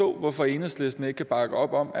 hvorfor enhedslisten ikke kan bakke op om